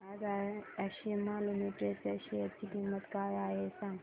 आज आशिमा लिमिटेड च्या शेअर ची किंमत काय आहे हे सांगा